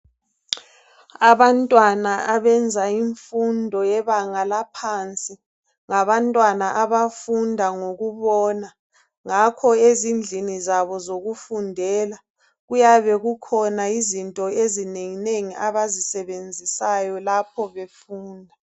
Abantwana abenza imfundo yebanga laphansi ngabantwana abafunda ngokubona. Ngakho ezindlini zabo zokufundela, kuyabe kukhona izinto ezinenginengi abazisebenzisayo lapho befunda.